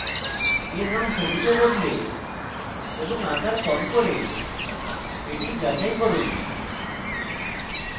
এর রঙ সবুজে বদলে এবং আকার কম করে এটি যাচাই করুন